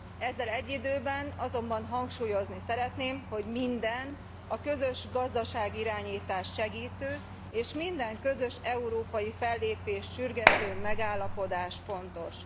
Ezzel egyidőben azonban hangsúlyozni szeretném, hogy minden, a közös gazdaságirányítást segítő és minden közös európai fellépést sürgető megállapodás fontos.